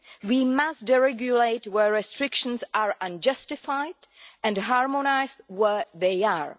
We must deregulate where restrictions are unjustified and harmonise where they are.